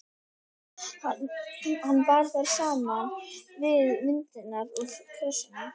Hann bar þær saman við myndirnar úr kössunum.